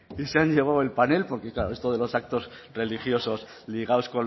y se han llevado el panel porque claro esto de los actos religiosos ligados